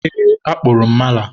eee, akpụrụ m mala.